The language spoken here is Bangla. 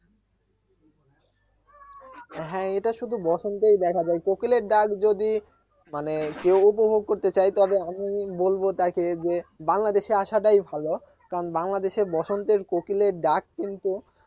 হ্যাঁ এটা শুধু বসন্তেই দেখা যায় কোকিলের ডাক যদি মানে কেউ উপভোগ করতে চায় তবে আমি বলবো তাকে যে বাংলাদেশে আসাটাই ভালো কারণ বাংলাদেশে বসন্তের কোকিলের ডাক কিন্তু